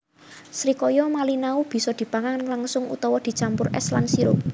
Srikaya malinau bisa dipangan langsung utawa dicampur es lan sirup